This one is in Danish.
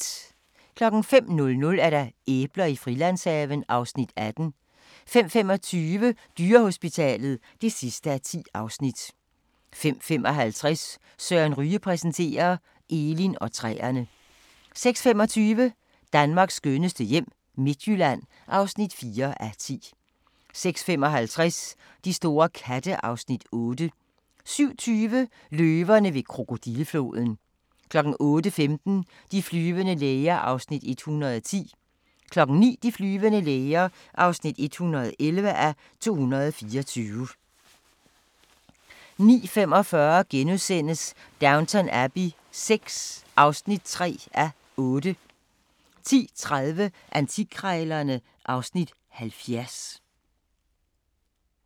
05:00: Æbler i Frilandshaven (Afs. 18) 05:25: Dyrehospitalet (10:10) 05:55: Søren Ryge præsenterer – Elin og træerne 06:25: Danmarks skønneste hjem - Midtjylland (4:10) 06:55: De store katte (Afs. 8) 07:20: Løverne ved krokodillefloden 08:15: De flyvende læger (110:224) 09:00: De flyvende læger (111:224) 09:45: Downton Abbey VI (3:8)* 10:30: Antikkrejlerne (Afs. 70)